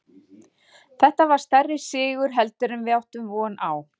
Þetta var stærri sigur heldur en við áttum von á.